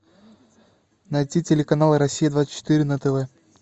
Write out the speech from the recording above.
найти телеканал россия двадцать четыре на тв